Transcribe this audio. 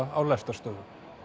á lestarstöðvum